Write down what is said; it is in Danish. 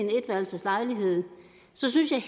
synes jeg